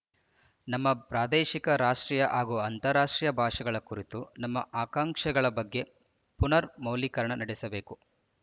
ನಮ್ಮ ಪ್ರಾದೇಶಿಕ ರಾಷ್ಟ್ರೀಯ ಹಾಗೂ ಅಂತಾರಾಷ್ಟ್ರೀಯ ಭಾಷೆಗಳ ಕುರಿತ ನಮ್ಮ ಆಕಾಂಕ್ಷೆಗಳ ಬಗ್ಗೆ ಪುನರ್ ಮೌಲ್ಯೀಕರಣ ನಡೆಸಬೇಕು